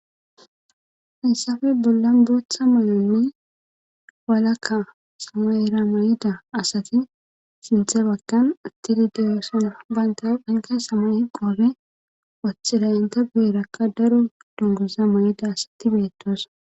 hinsafe dollan dootha maloni walakka samaera may7ida asati sinthe bakkan attidi deyosina baynta phanke samay qoobe wachchilayinta beerakka daro dongoza ma7ida asati beetoosa